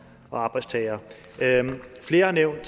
og arbejdstagere flere har nævnt